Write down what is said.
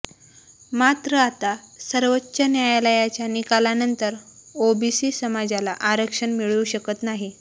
मात्र आता सर्वोच न्यायालयाच्या निकालानंतर ओबीसी समाजाला आरक्षण मिळू शकत नाही